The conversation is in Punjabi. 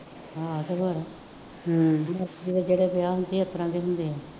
ਹਾਂ ਅਤੇ ਹੋਰ ਹੂੰ ਜਿਹੜੇ ਵਿਆਹ ਹੁੰਦੇ ਆ ਇਸ ਤਰ੍ਹਾਂ ਦੇ ਹੁੰਦੇ ਆ